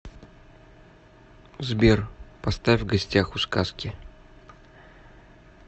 сбер поставь в гостях у сказки